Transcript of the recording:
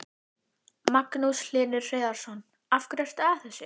Magnús Hlynur Hreiðarsson: Af hverju ertu að þessu?